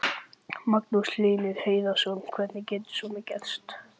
Magnús Hlynur Hreiðarsson: Hvernig getur svona gerst?